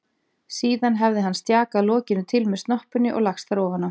Síðan hefði hann stjakað lokinu til með snoppunni og lagst þar ofan á.